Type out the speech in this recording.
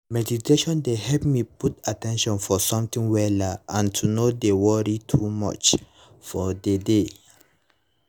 mediation dey help me put at ten tion for something wella and to no dey worry too much for the day